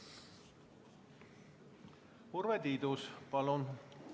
Urve Tiidus, palun!